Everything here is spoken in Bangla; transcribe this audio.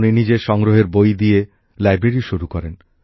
উনি নিজের সংগ্রহের বই দিয়ে লাইব্রেরী শুরু করেন